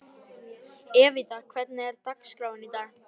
Evíta, hvernig er dagskráin í dag?